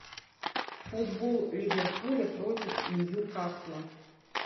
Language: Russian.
футбол ливерпуля против ньюкасла